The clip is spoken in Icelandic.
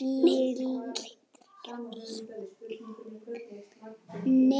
bílnum hjá þér.